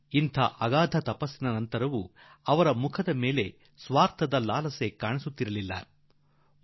ಇಷ್ಟು ದೊಡ್ಡ ತ್ಯಾಗ ಮಾಡಿದ ನಂತರವೂ ಅವರ ಮುಖಗಳಲ್ಲಿ ಮಾನ್ಯತೆ ಪಡೆದುಕೊಳ್ಳುವ ಏನಾದರು ಆಗಬೇಕೆಂಬ ಆಸೆಯ ನೋಟ ಎಲ್ಲೂ ಕಾಣಿಸಲಿಲ್ಲ